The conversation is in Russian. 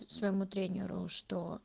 своему тренеру что